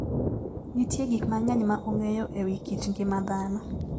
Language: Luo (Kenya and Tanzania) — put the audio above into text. Nitie gik mang'eny ma ong'eyo e wi kit ngima dhano.